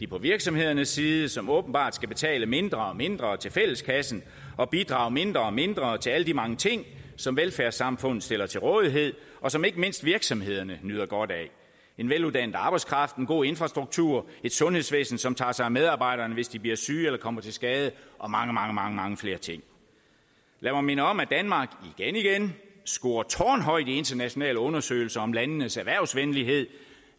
på virksomhedernes side som åbenbart skal betale mindre og mindre til fælleskassen og bidrage mindre og mindre til alle de mange ting som velfærdssamfundet stiller til rådighed og som ikke mindst virksomhederne nyder godt af en veluddannet arbejdskraft en god infrastruktur et sundhedsvæsen som tager sig af medarbejderne hvis de bliver syge eller kommer til skade og mange mange mange flere ting lad mig minde om at danmark igen igen scorer tårnhøjt i internationale undersøgelser om landenes erhvervsvenlighed